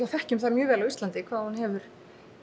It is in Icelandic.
þekkjum það mjög vel á Íslandi hvað hún hefur